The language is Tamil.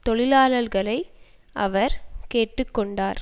தொழிலாளர்களை அவர் கேட்டு கொண்டார்